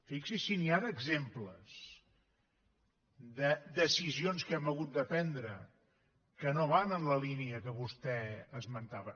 fixi’s si n’hi ha d’exemples de decisions que hem hagut de prendre que no van en la línia que vostè esmentava